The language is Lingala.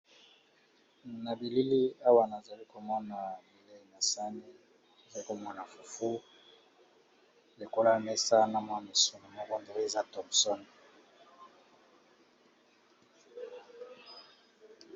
Na bilili awa nazali komona bilei nasani azali komana fufu likola mesa na mwa misu ma bondoli za thomson.